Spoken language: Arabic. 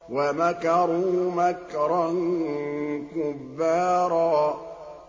وَمَكَرُوا مَكْرًا كُبَّارًا